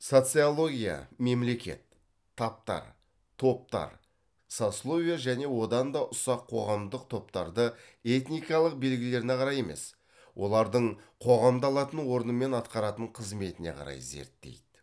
социология мемлекет таптар топтар сословие және одан да ұсақ қоғамдық топтарды этникалық белгілеріне қарай емес олардың қоғамда алатын орны мен атқаратын қызметіне қарай зерттейді